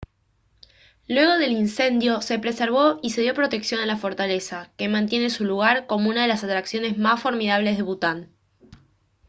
luego del incendio se preservó y se dio protección a la fortaleza que mantiene su lugar como una de las atracciones más formidables de bután